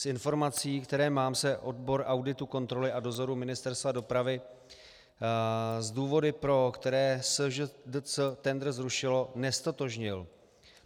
Z informací, které mám, se odbor auditu, kontroly a dozoru Ministerstva dopravy s důvody, pro které SŽDC tendr zrušilo, neztotožnil.